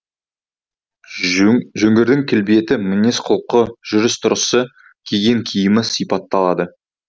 жөңгірдің келбеті мінез құлқы жүріс түрысы киген киімі сипатталады